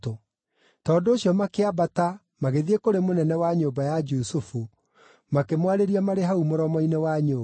Tondũ ũcio makĩambata magĩthiĩ kũrĩ mũnene wa nyũmba ya Jusufu, makĩmwarĩria marĩ hau mũromo-inĩ wa nyũmba.